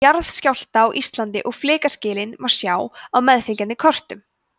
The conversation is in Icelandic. jarðskjálfta á íslandi og flekaskilin má sjá á meðfylgjandi kortum